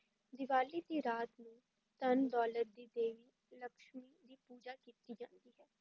ਦੀਵਾਲੀ ਦੀ ਰਾਤ ਨੂੰ ਧਨ-ਦੌਲਤ ਦੀ ਦੇਵੀ ਲਕਸ਼ਮੀ ਦੀ ਪੂਜਾ ਕੀਤੀ ਜਾਂਦੀ ਹੈ,